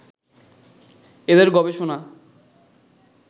এঁদের গবেষণা